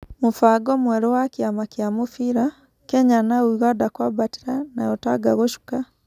Mũbango mwerũ wa Kĩama kĩa Mũbira: Kenya na ũganda kũambatĩra nayo Tanga gũcuka.